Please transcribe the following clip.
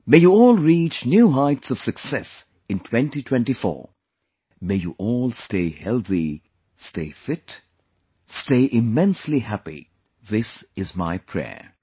May you all reach new heights of success in 2024, may you all stay healthy, stay fit, stay immensely happy this is my prayer